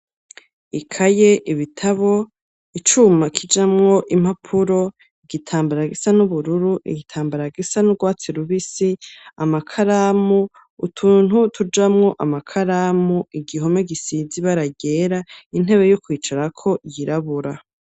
Ikaye, ibitabo, icuma kijamwo impapuro, igitambara gisa n'ubururu, igitambara gisa n'urwatsi rubisi, amakaramu, utuntu tujamwo amakaramu, igihome gisize ibara ryera, intebe yo kwicarako yirabura.